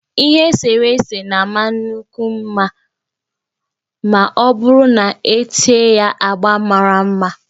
Ihe eserese na-amakwu mma ma ọ bụrụ na-ete ya agba mara mma